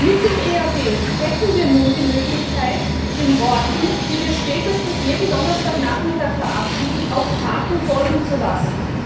Mit dem EAD hätten wir nun die Möglichkeit, den Worten, die wir spätestens jeden Donnerstagnachmittag verabschieden, auch Taten folgen zu lassen.